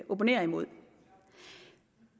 opponerer imod